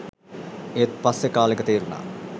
ඒත් පස්සේ කාලෙක තේරුණා